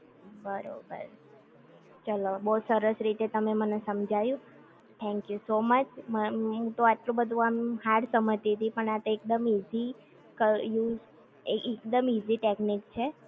બરોબર ચલો બો સરસ રીતે તમે મને સમજાયું થેન્ક યૂ સો મચ, મન હું તો આટલું બધુ આમ હાર્ડ સમજતી તી પણ આ એકદમ ઈજી ક યુઝ એકદમ ઈજી ટેકનિક છે